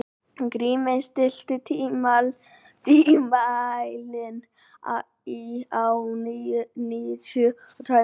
Grímey, stilltu tímamælinn á níutíu og tvær mínútur.